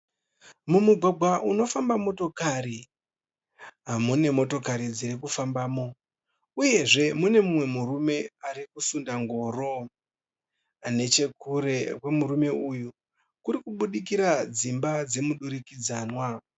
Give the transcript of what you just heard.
Mumugwagwa unofamba motokari. Munemotokari dzirikufambamo uyezve mune mumwe murume arikusunda ngoro. Nechekure kwemurume uyu kurikubudikira dzimba dzemudurikidzanwa